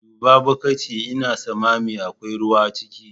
Duba bukiti Ina sammami akwai ruwa ciki.